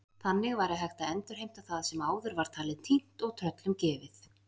Þannig væri hægt að endurheimta það sem áður var talið týnt og tröllum gefið.